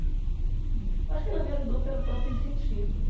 Eu acho que ela me ajudou pelo próprio incentivo, né?